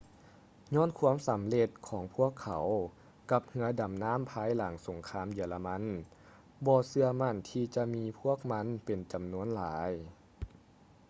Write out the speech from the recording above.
ຍ້ອນຄວາມສຳເລັດຂອງພວກເຂົາກັບເຮຶອດໍານໍ້າພາຍຫຼັງສົງຄາມເຢຍລະມັນບໍ່ເຊື່ອໝັ້ນທີ່ຈະມີພວກມັນເປັນຈຳນວນຫຼາຍ